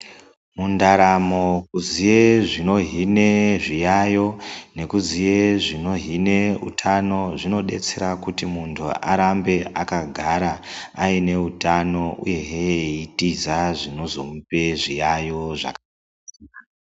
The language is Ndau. Mundaramo kuziye zvino hine zviyayeyo nekuziya zvinohina utano zvinodetsera kuti muntu arambe akagara aine utano uye zve eitiza zvinozomupa zviyayeyo.